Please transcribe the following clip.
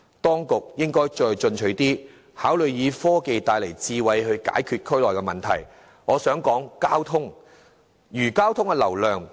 當局應該再進取一點，考慮以科技帶來的智慧解決區內問題，例如減少交通流量。